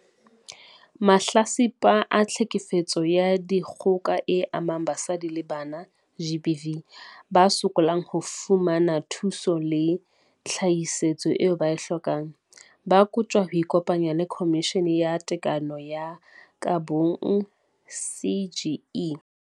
Mahlatsipa a Tlhekefetso ya Dikgoka e Amang Basadi le Bana, GBV, ba sokolang ho fumana thuso le tshehetso eo ba e hlokang, ba kotjwa ho ikopanya le Khomishene ya Tekano ho ya ka Bong, CGE.